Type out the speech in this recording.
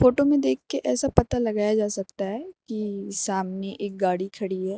Photo में देख कर ऐसा पता लगाया जा सकता है कि सामने एक गाड़ी खड़ी है।